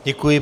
Děkuji.